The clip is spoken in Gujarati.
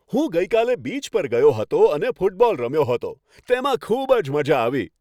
હું ગઈકાલે બીચ પર ગયો હતો અને ફૂટબોલ રમ્યો હતો. તેમાં ખુબ જ મજા આવી.